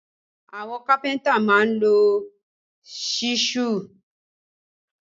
Àwọn kápẹ́ntà máa ń lo ṣísù